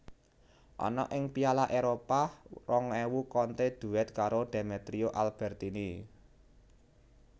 Ana ing Piala Éropah rong ewu Conte duet karo Demetrio Albertini